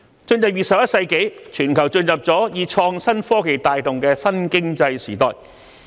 在進入21世紀後，全球已經進入以創新科技帶動的新經濟時代。